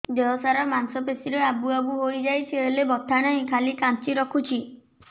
ଦେହ ସାରା ମାଂସ ପେଷି ରେ ଆବୁ ଆବୁ ହୋଇଯାଇଛି ହେଲେ ବଥା ନାହିଁ ଖାଲି କାଞ୍ଚି ରଖୁଛି